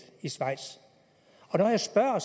i schweiz når jeg spørger